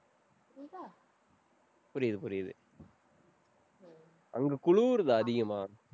புரியுது, புரியுது. அங்க குளிருதா அதிகமா?